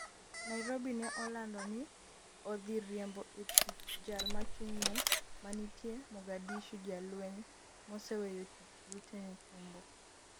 Nairobi ne olando ni odhi riembo e tich jal mochung'ne manitie Mogadishu jalweny moseweyo tich Luteni Tumbo